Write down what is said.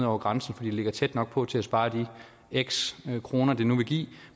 over grænsen fordi det ligger tæt nok på til at spare de x antal kroner det nu vil give